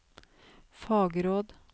fagråd